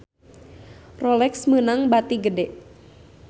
Rolex meunang bati gede